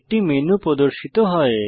একটি মেনু প্রদর্শিত হয়